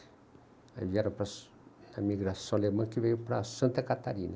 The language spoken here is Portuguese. Aí vieram para para a migração alemã que veio para Santa Catarina.